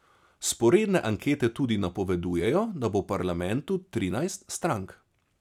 Vzporedne ankete tudi napovedujejo, da bo v parlamentu trinajst strank.